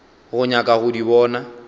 go nyaka go di bona